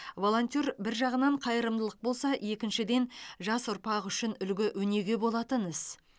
волонтер бір жағынан қайырымдылық болса екіншіден жас ұрпақ үшін үлгі өнеге болатын іс